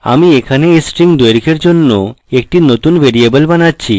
আমি এখানে এই string দৈর্ঘের জন্য একটি নতুন ভ্যরিয়েবল বানাচ্ছি